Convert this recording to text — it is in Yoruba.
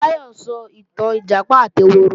Táyọ̀ ń sọ ìtàn Ìjàpá àti ehoro